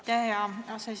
Aitäh, hea aseesimees!